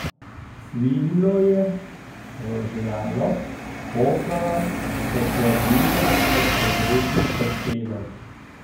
Cvililo je, rožljalo, pokalo, se kadilo od pregretih torpedov.